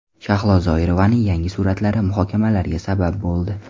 Shahlo Zoirovaning yangi suratlari muhokamalarga sabab bo‘ldi.